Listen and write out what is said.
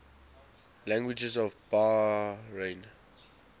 languages of bahrain